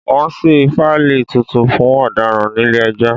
Wọ́n ṣí fáílì tuntun fún ọ̀daràn nílé ẹjọ́